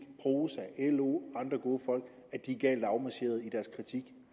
prosa lo og andre gode folk er galt afmarcheret i deres kritik